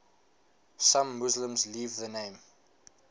some muslims leave the name